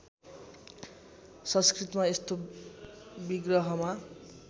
संस्कृतमा यस्तो विग्रहमा